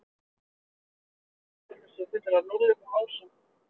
Stundum er talað um að tölvur séu fullar af núllum og ásum.